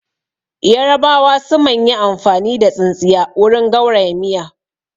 Yarabawa su man yi amfani da tsintsiya wurin gauraya miya